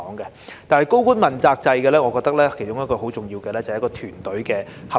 但是，在高官問責制方面，我認為其中一項很重要的是團隊合作。